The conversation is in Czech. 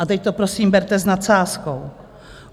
A teď to prosím berte s nadsázkou.